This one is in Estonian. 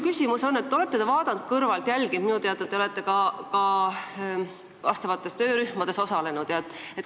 Te olete asjade arengut kõrvalt jälginud, aga olete minu teada ka teatud töörühmades osalenud.